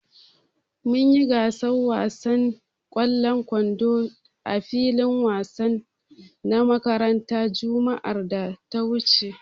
Mun yi gasar wasan ƙwallon kwando a filin wansan na makarantar juma'ar da ta wuce.